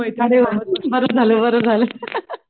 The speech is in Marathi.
अरे वा बरं झालं बरं झालं